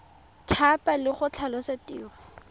thapa le go tlhalosa tiro